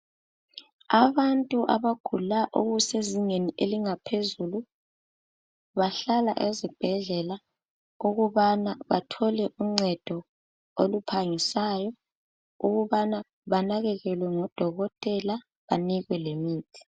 Abantu abagula okusezingeni elingaphezulu bahlala ezibhedlela ukubana bathole uncedo oluphangisayo ukubana banakekelwe ngodokotela banikwe lemithi.